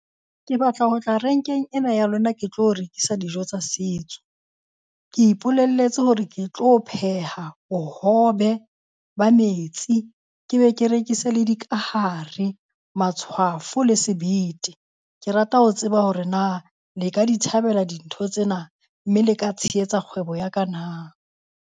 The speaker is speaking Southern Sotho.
Ke batla ho tla renkeng ena ya lona ke tlo rekisa dijo tsa setso. Ke ipolelletse hore ke tlo pheha bohobe ba metsi, ke be ke rekise le dikahare, matshwafo le sebete. Ke rata ho tseba hore na le ka di thabela dintho tsena? Mme le ka tshehetsa kgwebo ya ka na?